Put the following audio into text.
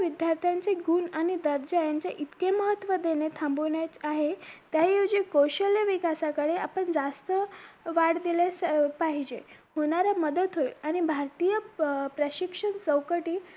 विद्यार्थ्यांचे गुण आणि दर्जा यांचे इतके महत्व देणे थांबवण्यात आहे त्याऐवजी कौशल्य विकासाकडे आपण जास्त वाढ दिलेच पाहिजे होणारी मदत होईल आणि भारतीय प्रशिक्षण चौकटीत